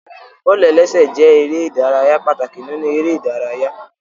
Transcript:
Bọ́ọ̀lù-ẹlẹ́sẹ̀ jẹ erè ìdárayá pàtàkì nínú eré ìdárayá